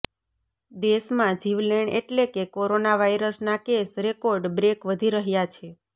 દેશમાં જીવલેણ એટલે કે કોરોના વાયરસના કેસ રેકોર્ડ બ્રેક વધી રહ્યા છે